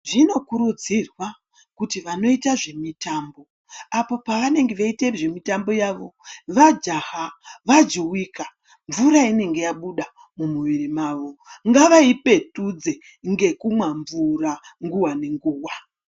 Zvinokurudzirwa kuti vanoita zvemitambo apo pavanenge veita zvemutambo yavo vajaha vajuwika mvura inenge yabuda mumuviri mwawo ngavaipetudze ngekumwa mvura nguwa ngenguwa.